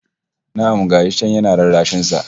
Na'am! Ga shi can yana rarrashin sa